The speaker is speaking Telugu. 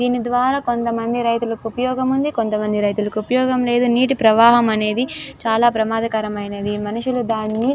దినిద్వారా కొంతమంది రైతులకి ఉపయోగం కొంతమంది రైతులకు ఉపయోగం లేదు నీటి ప్రవాహం అనేది చాలా ప్రమాదకరమైనది మనుషులు దాని--